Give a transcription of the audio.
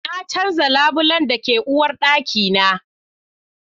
Na canza labulen da ke uwarɗaki na